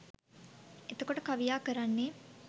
එතකොට කවියා කරන්නේ